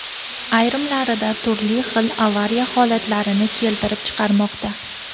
ayrimlarida turli xil avariya holatlarini keltirib chiqarmoqda.